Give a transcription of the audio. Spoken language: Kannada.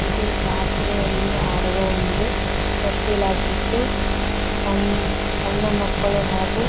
ಇದು ಜಾತ್ರೆಯಲ್ಲಿ ಆಡುವ ಒಂದು ತೊಟ್ಟಿಲಾಗಿತ್ತು ಸಣ್ ಸಣ್ಣ ಮಕ್ಕಳು ಹಾಗೂ--